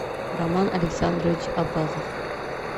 роман александрович абазов